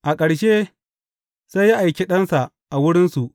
A ƙarshe, sai ya aiki ɗansa a wurinsu.